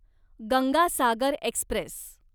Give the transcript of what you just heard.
Ganga Sagar Express